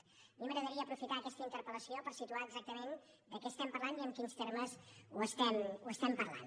a mi m’agradaria aprofitar aquesta interpel·lació per situar exactament de què estem parlant i en quins termes ho estem parlant